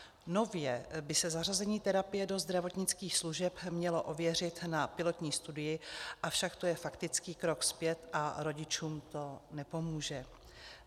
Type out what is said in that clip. Nově by se zařazení terapie do zdravotnických služeb mělo ověřit na pilotní studii, avšak to je faktický krok zpět a rodičům to nepomůže.